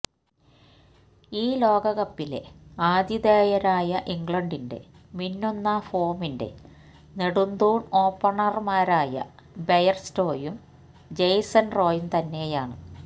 ഈ ലോകകപ്പിലെ ആതിഥേയരായ ഇംഗ്ലണ്ടിന്റെ മിന്നുന്ന ഫോമിന്റെ നെടുന്തൂൺ ഓപ്പണർമാരായ ബെയർസ്റ്റോയും ജേസൺ റോയും തന്നെയാണ്